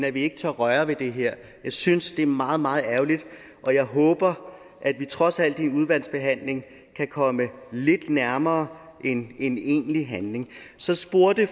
at vi ikke tør røre ved det her jeg synes det er meget meget ærgerligt og jeg håber at vi trods alt i udvalgsbehandlingen kan komme lidt nærmere en egentlig handling så spurgte